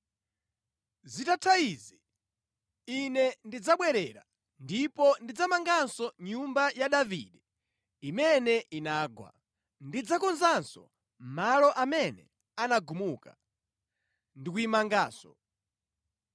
“ ‘Zitatha izi Ine ndidzabwerera ndipo ndidzamanganso nyumba ya Davide imene inagwa. Ndidzakonzanso malo amene anagumuka, ndi kuyimanganso,